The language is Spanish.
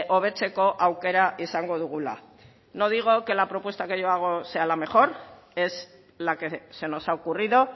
hobetzeko aukera izango dugula no digo que la propuesta que yo hago sea la mejor es la que se nos ha ocurrido